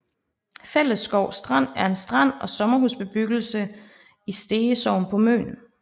Fællesskov Strand er en strand og en sommerhusbebyggelse i Stege Sogn på Møn